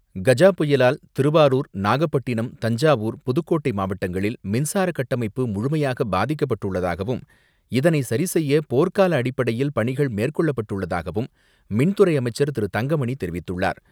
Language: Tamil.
திருவாரூர், நாகப்பட்டினம், தஞ்சாவூர், புதுக்கோட்டை மாவட்டங்களில் மின்சார கட்டமைப்பு முழுமையாக பாதிக்கப்பட்டுள்ளதாகவும், இதனை சரிசெய்ய போர்கால அடிப்படையில் பணிகள் மேற்கொள்ளப்பட்டுள்ளதாகவும், மின்துறை அமைச்சர் திரு தங்கமணி தெரிவித்துள்ளார்.